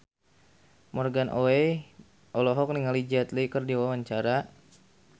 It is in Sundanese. Morgan Oey olohok ningali Jet Li keur diwawancara